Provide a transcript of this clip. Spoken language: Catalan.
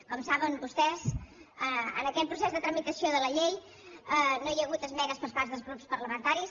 com saben vostès en aquest procés de tramitació de la llei no hi ha hagut esmenes per part dels grups parlamentaris